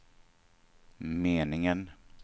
meningen